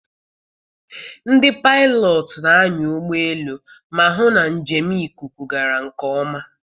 Ndị paịlọt na-anya ụgbọelu ma hụ na njem ikuku gara nke ọma.